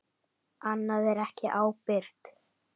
Annað er ekki ábyrgt.